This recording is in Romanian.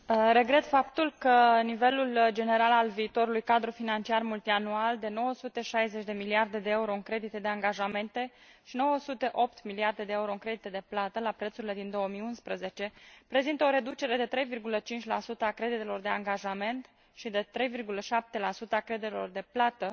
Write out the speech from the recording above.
Regret faptul că nivelul general al viitorului cadru financiar multianual de 960 de miliarde de euro în credite de angajamente și 908 miliarde de euro în credite de plată la prețurile din 2011 prezintă o reducere de 3,5 a creditelor de angajament și de 3,7 a creditelor de plată,